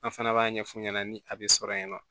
An fana b'a ɲɛfu ɲɛna ni a be sɔrɔ yen nɔ